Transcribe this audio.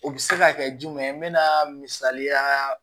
O bɛ se ka kɛ jumɛn misaliya